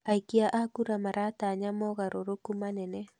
Aikia a kura maratanya mogarũrũkumanene